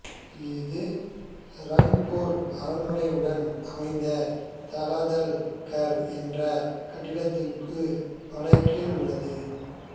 இது ரங்பூர் அரண்மனையுடன் அமைந்த தலாதல் கர் என்ற கட்டிடத்துக்கு வட கிழக்கில் உள்ளது